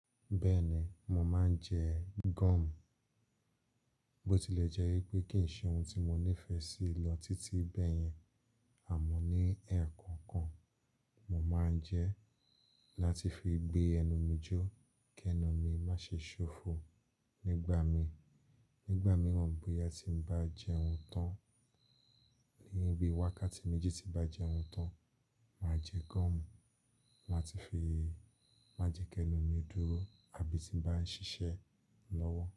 Bẹ́ẹ̀ ni, mo máa ń jẹ gum. Bó ti lè jẹ́ wípé kì í ṣe oun tí mo nífẹ̀ẹ́ sí lọ títí bẹ́ẹ̀ yẹn, àmọ́ ní ẹ̀ẹ̀kọkan, mo máa ń jẹ láti fi gbé ẹnu mi jó kí ẹnu mi má ṣe ṣófo nígbà mi. Nígbà mìíràn, bóyá tí mo bá jẹ oun tán, ní bí wákàtí méjì tí bá jẹ oun tán, màá jẹ gum, màá ti fi máa jẹ kí ẹnu mi dúró àbí tí bá ń ṣiṣẹ́ lọ́wọ́.